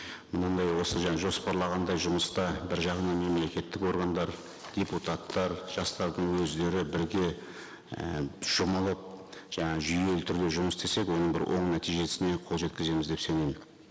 мұндай осы жаңа жоспарлағандай жұмыста бір жағынан мемлекеттік органдар депутаттар жастардың өздері бірге і жұмылып жаңа жүйелі түрде жұмыс істесек оның бір оң нәтижесіне қол жеткіземіз деп сенейік